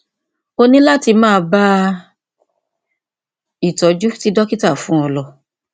o ní láti máa bá ìtọjú tí dókítà fún ọ lọ